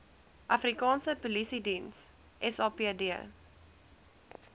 afrikaanse polisiediens sapd